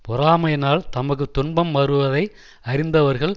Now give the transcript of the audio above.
பொறாமையினால் தமக்கு துன்பம் வருவதை அறிந்தவர்கள்